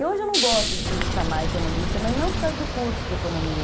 E hoje eu não gosto de me chamar economista, mas não por causa do curso de economia.